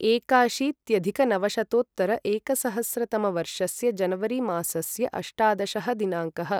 एकाशीत्यधिकनवशतोत्तर एकसहस्रतमवर्षस्य जनवरि मासस्य अष्टादशः दिनाङ्कः